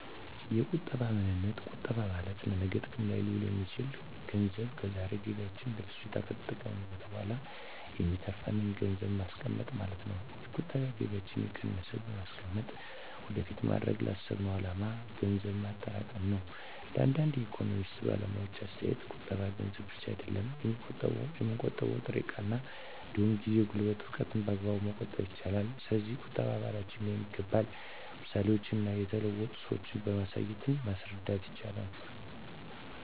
የቁጠባ ምንነት ቁጠባ ማለት ለነገ ጥቅም ላይ ሊውል የሚችል ገንዘብ ከዛሬ ገቢያችን ለፍጆታ ከተጠቀምንት በኋላ የሚተርፍን ገንዘብን ማስቀመጥ ማለት ነው። የቁጠባ ከገቢያችን እየቀነስን በማስቀመጥ ወደፊት ማድረግ ላሰብነው አላማ ገንዘብ ማጠራቀም ነው። እንደ አንዳንድ የኢኮኖሚክስ ባለሙያዎች አስተያየት ቁጠባ ገንዘብ ብቻ አይደለም የሚቆጠበው የምንጠቀመው ጥሬ እቃ እንዲሁም ጊዜ፣ ጉልበትን፣ እውቀትን በአግባቡ መቆጠብ ይቻላል። ስለዚህ ቁጠባ ባህላችን ሊሆን ይገባል ምሳሌዎችን እና የተለወጡ ሰዎችን በማሳየት ማስረዳት ይቻላል